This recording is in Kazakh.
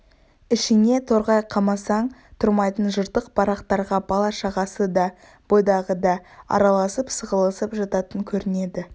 ішіне торғай қамасаң тұрмайтын жыртық барақтарға бала-шағасы да бойдағы да араласып сығылысып жататын көрінеді